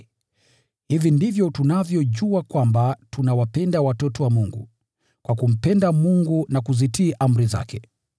Hivi ndivyo tunavyojua kwamba tunawapenda watoto wa Mungu, kwa kumpenda Mungu na kuzitii amri zake.